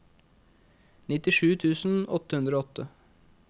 nittisju tusen åtte hundre og åtte